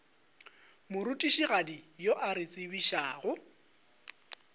morutišigadi yo a re tsebišago